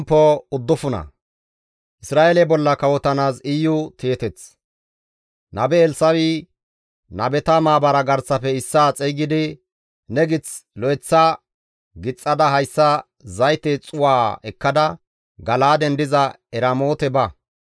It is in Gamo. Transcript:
Nabe Elssa7i nabeta maabara garsafe issaa xeygidi, «Ne gith lo7eththa gixxada hayssa zayte xuu7aa ekkada Gala7aaden diza Eramoote ba.